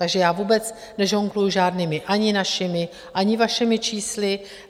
Takže já vůbec nežongluji žádnými ani našimi, ani vašimi čísly.